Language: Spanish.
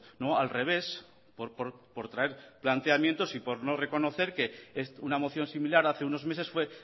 no al revés por traer planteamientos y por no reconocer que es una moción similar hace unos meses fue